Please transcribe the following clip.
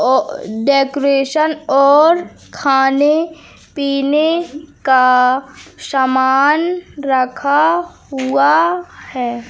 और डेकोरेशन और खाने पीने का समान रखा हुआ है।